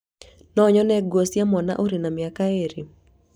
No nyone nguo cia mwana ũrĩ na mĩaka ĩrĩ?